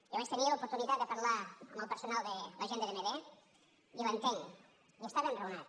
jo vaig tenir l’oportunitat de parlar amb el personal de la gent de dmd i l’entenc i està ben raonat